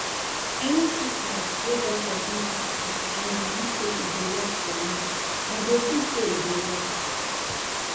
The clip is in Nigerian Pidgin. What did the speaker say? any treatment wey doctor give you to take and you belive say e go work for you you go see say e go work